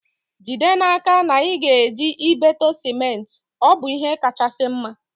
Jide n'aka na ị na-eji ibeto sementi, ọ bụ ihe kachasị mma